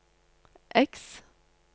X